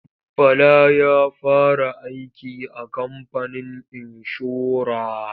Bala ya fara aiki a kamfanin inshora.